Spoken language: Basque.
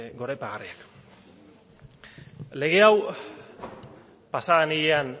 goraipagarria lege hau pasaden ilean